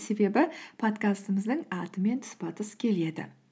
себебі подкастымыздың атымен тұспа тұс келеді